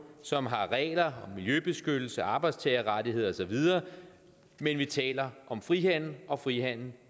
som har regler miljøbeskyttelse arbejdstagerrettigheder og så videre men vi taler om frihandel og frihandel